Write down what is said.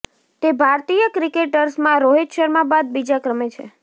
તે ભારતીય ક્રિકેટર્સમાં રોહિત શર્મા બાદ બીજા ક્રમે છે